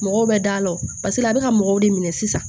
Mɔgɔw bɛ da ɔn paseke a bɛ ka mɔgɔw de minɛ sisan